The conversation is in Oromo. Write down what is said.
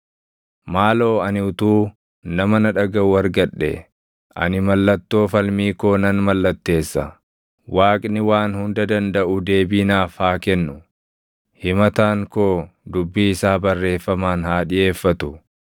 “Maaloo ani utuu nama na dhagaʼu argadhee! Ani mallattoo falmii koo nan mallatteessa; Waaqni Waan Hunda Dandaʼu deebii naaf haa kennu; himataan koo dubbii isaa barreeffamaan haa dhiʼeeffatu.